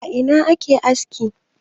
A Ina ake aski?